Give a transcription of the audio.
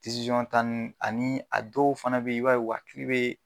tan ani a dɔw fana be yen i ba ye u hakili be